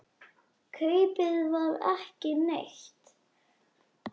Kaupið var ekki neitt.